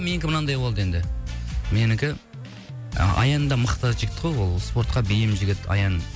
менікі мынандай болды енді менікі і аян да мықты жігіт қой ол спортқа бейім жігіт аян